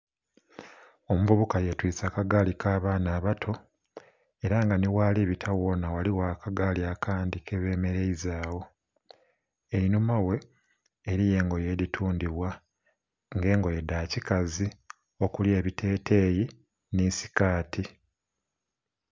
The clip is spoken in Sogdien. Omuvubuka ye twise aka gaali ka baana abato era nga nhi ghali kubita ghaligho aka gaali akandhi ke bemereiza gho, einhuma ghe eriyo engoye edhitundhibwa nga engoye dha kikazi okuli ebitegeyi nhi sikaati.